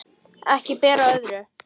Ekki ber á öðru.